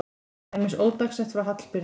Til dæmis ódagsett frá Hallbirni